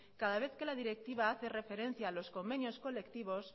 cada vez que la directiva hace referencia a los convenios colectivos